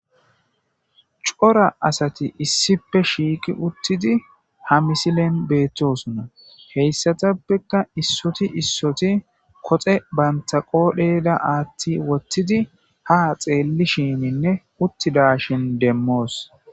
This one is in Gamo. C'ora asati issippe shiqi utidi ha misilen beetosona. Heysathapeka issoti issoti koxe bantha qodhera athi wothidi ha xelishininne utidashin deemos.